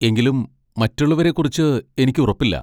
എങ്കിലും മറ്റുള്ളവരെക്കുറിച്ച് എനിക്ക് ഉറപ്പില്ല.